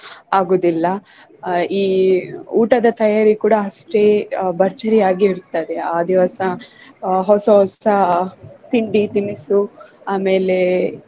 ಆಗುದಿಲ್ಲ. ಆಹ್ ಈ ಊಟದ ತಯಾರಿ ಕೂಡಾ ಅಷ್ಟೆ ಆಹ್ ಭರ್ಜರಿ ಆಗಿರ್ತದೆ ಆ ದಿವ್ಸ ಆಹ್ ಹೊಸ ಹೊಸ ತಿಂಡಿ ತಿನಿಸು ಆಮೇಲೆ